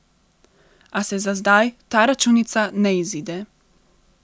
A se za zdaj ta računica ne izide.